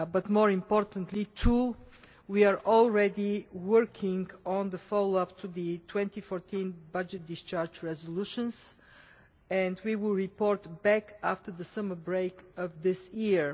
More importantly, two we are already working on the follow up to the 2014 budget discharge resolutions and we will report back after the summer break this year.